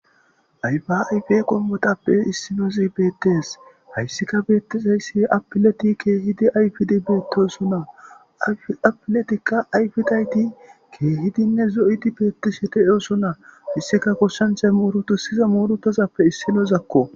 ayfa ayfa qommotappe issinoz bettes hayssika beettisayssi apileti keehidi ayfidi beettosonna apiletikka ayfidayti keehidinne zo'idi beettishete eoso na issika koshshanchay murutiza murutazappe issinozakko